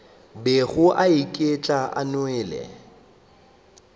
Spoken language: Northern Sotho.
bego a otlela a nwele